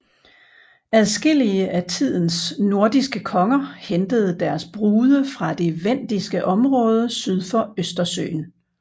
Adskillige af tidens nordiske konger hentede deres brude fra det vendiske område syd for Østersøen